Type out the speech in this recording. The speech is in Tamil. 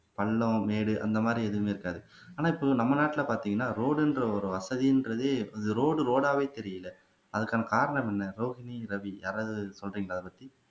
பள்ளம் மேடு அந்த மாதிரி எதுவுமே இருக்காது ஆனா இப்போ நம்ம நாட்டுல பார்த்தீங்கன்னா ரோடுன்ற ஒரு வசதின்றதே ரோடு ரோடாவே தெரியலை அதுக்கான காரணம் என்ன ரோஹினி ரவி யாராவது சொல்றீங்களா இத பத்தி